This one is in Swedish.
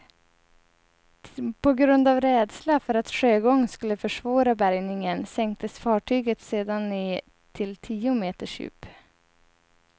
På grund av rädsla för att sjögång skulle försvåra bärgningen sänktes fartyget sedan ned till tio meters djup.